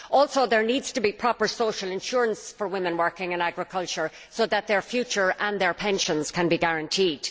There also needs to be proper social insurance for women working in agriculture so that their future and their pensions can be guaranteed.